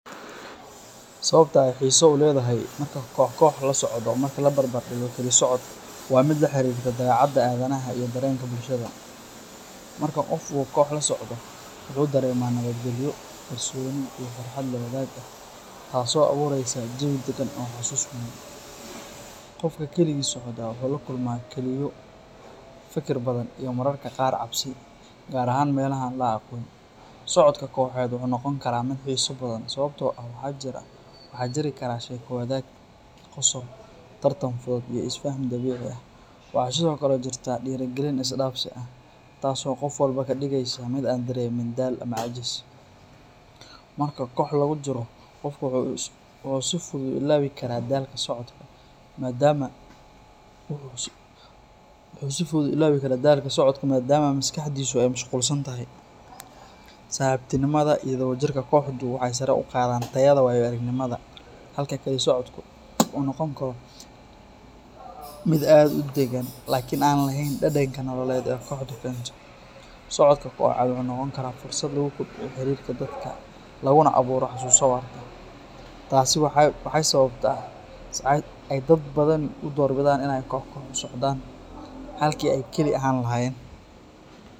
Sawabta ay hisaa uledahay marka kohkoh lasocdo ama marki lagarab digo kili socod wa mid laharirto dabecada adhanah iyo darenka bulshadha, marka gof uu koh lasocdo wuxu daremaa nawad galyo kalsoni iyo farhat reenreen, taaso awureyso jawii dagan iyo husus badan, gofka kaligii socda wuxu lakulma fikir badan iyo mararka qaar cabsi, gaar ahan milaha an laagon, socodka kohet wuxu nogonkara mid hisoo badan sawabto ah wahajiri karaa sheko wadag ,qosol tartan iyo isfaha, waxa sidhokale jirta dirigalin isdafsi ah , taas oo gofwalba kadigeyso mid aan lehen daal ama cajis, marka kooh lagujiro gofka wuxu si fudud uilawi karaa dalka socodka, maadama wuxu si fudud uilawikaraa dalka kili socodka maadamu maskaxdisa ay mashgulsantahay, sahibtinimada iyo wada jirka kohda waxay saraa ugadan tayada walalnimada, halka kali socodku u nogonkaro mid aad udagan lakin anan lehen dadan nololed ee koxda, socodka wuxu nogonkara mid ah fursad lagukordiyo, taasi waxay sababta dad badan u kor bidan inay koh koh usocdan, halki ay kali ahan lahayen.